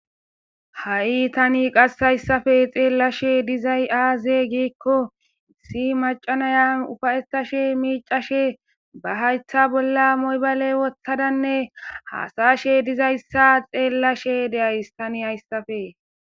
Hai tanii qase hayssappe xellshe diizayssi azee gikko issi maca naya uufayetashe miccashe ba hayththa bolla my bale woththadanne hasayozayssa xellashe de'ayssii tanii hayssappe